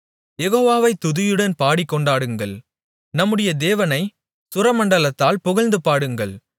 யெகோவாவை துதியுடன் பாடிக்கொண்டாடுங்கள் நம்முடைய தேவனைச் சுரமண்டலத்தால் புகழ்ந்து பாடுங்கள்